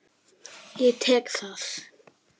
Ég tek það!